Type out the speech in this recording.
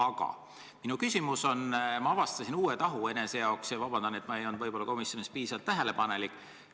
Aga ma avastasin enese jaoks ühe uue tahu ja ütlen kohe ette vabandust, kui ma ei olnud komisjonis piisavalt tähelepanelik.